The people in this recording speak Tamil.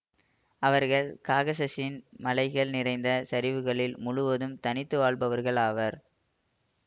அவர்கள் காகசஸின் மலைகள் நிறைந்த சரிவுகளில் முழுவது தனித்து வாழ்பவர்கள் ஆவர்